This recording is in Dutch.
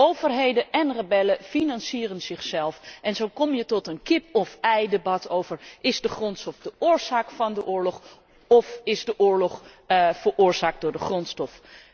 Overheden en rebellen financieren zichzelf en zo kom je tot de kip of eivraag is de grondstof de oorzaak van de oorlog of is de oorlog veroorzaakt door de grondstof?